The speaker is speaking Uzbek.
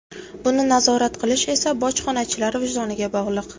Buni nazorat qilish esa bojxonachilar vijdoniga bog‘liq.